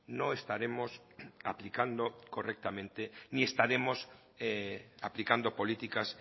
no estaremos aplicando correctamente ni estaremos aplicando políticas